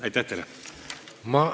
Aitäh teile!